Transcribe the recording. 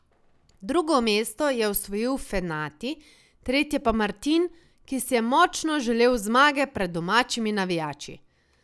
Drugo mesto je osvojil Fenati, tretje pa Martin, ki si je močno želel zmage pred domačimi navijači.